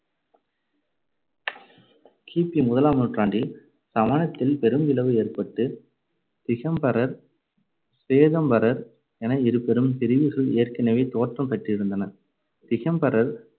கி பி முதலாம் நூற்றாண்டில் சமணத்தில் பெரும்பிளவு ஏற்பட்டு திகம்பரர், சுவேதாம்பரர் என இருபெரும் பிரிவுகள் ஏற்கனவே தோற்றம் பெற்றிருந்தன. திகம்பரர்